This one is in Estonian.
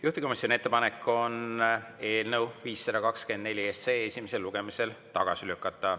Juhtivkomisjoni ettepanek on eelnõu 524 esimesel lugemisel tagasi lükata.